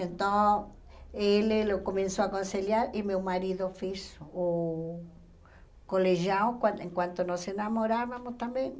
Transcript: Então, ele começou a aconselhar e meu marido fez o colegial, quan enquanto nós nos namorávamos também.